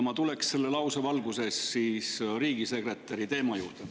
Ma tulen selle lause valguses riigisekretäri teema juurde.